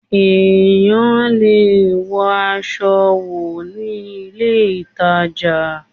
Èyàn lè wọ aṣọ wò ní ilé ìtàjà